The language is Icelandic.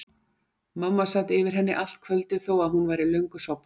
Mamma sat yfir henni allt kvöldið þó að hún væri löngu sofnuð.